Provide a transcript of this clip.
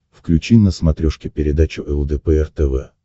включи на смотрешке передачу лдпр тв